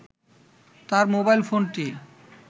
তার মোবাইল ফোনটি